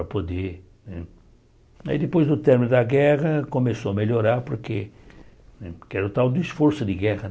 Para poder né aí depois do término da guerra começou a melhorar, porque porque era o tal do esforço de guerra.